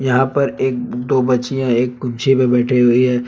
यहां पर एक दो बच्चियां एक पे बैठे हुई है।